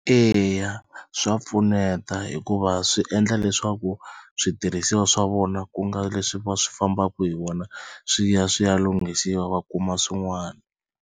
Eya swa pfuneta hikuva swi endla leswaku switirhisiwa swa vona ku nga leswi va swi fambaka hi wona swi ya swi ya lunghisiwa va kuma swin'wana.